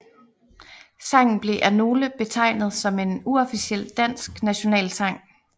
Sangen bliver af nogle betegnet som en uofficiel dansk nationalsang